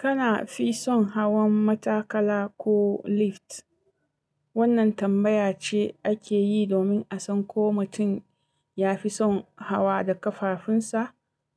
Kana fi son hawan matakala ko lift? Wannan tambaya ce ake yi domin a san ko mutum ya fi son hawa da ƙafafunsa